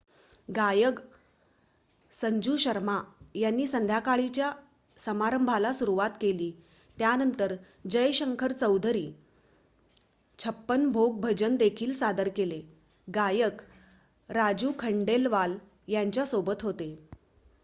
गायक संजू शर्मा यांनी संध्याकाळीच्या समारंभाला सुरवात केली त्यानंतर जय शंकर चौधरी छप्पन भोग भजन देखील सादर केले गायक राजू खंडेलवाल त्यांच्या सोबत होते